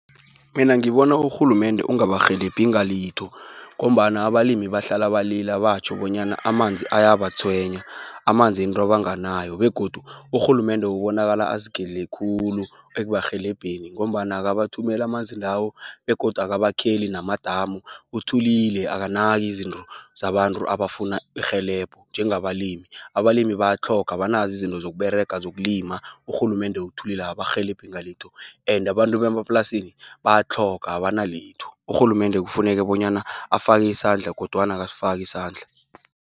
Mina ngibona, urhulumende ungabarhelebhi ngalitho, ngombana abalimi bahlala balila, batjho bonyana amanzi ayabatshwenya. Amanzi yinto abanganayo, begodu urhulumende obonakala azigedle khulu ekubarhelebheni, ngombana akabathumeli amanzi lawo, begodu akabakheli namadamu. Uthulile akanaki izinto zabantu abafuna irhelebho, njengabalimi. Abalimi bayatlhoga, abanazo izinto zokUberega, zokulima. Urhulumende uthulile akabarhelebhi ngalitho and abantu bemaplasini bayatlhoga abanalitho. Urhulumende kufuneka bonyana afaki isandla kodwana akasifaki isandla.